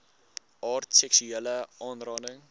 aard seksuele aanranding